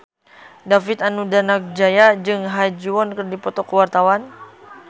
David Danu Danangjaya jeung Ha Ji Won keur dipoto ku wartawan